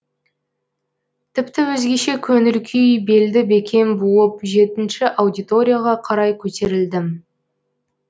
тіпті өзгеше көңіл күй белді бекем буып жетінші аудиторияға қарай көтерілдім